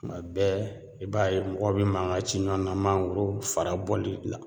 Kuma bɛɛ i b'a ye mɔgɔw bi mangan ci ɲɔgɔn na mangoro fara bɔli la